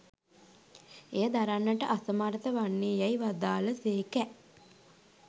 එය දරන්නට අසමර්ථ වන්නේ යැයි වදාළ සේකැ.